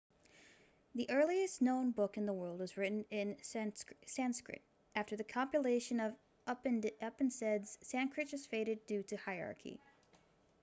the earliest known book in the world was written in sanskrit after the compilation of upanishads sanskrit just faded due to hierarchy